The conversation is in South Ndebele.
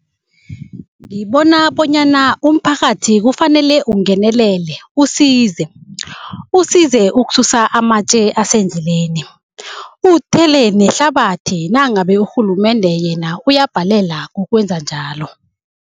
Ngibona bonyana umphakathi kufanele ungenelele, usize. Usize ukususa amatje asendleleni, uthele nehlabathi nangabe urhulumende yena uyabhalela kukwenza njalo.